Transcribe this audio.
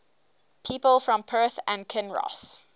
people from perth and kinross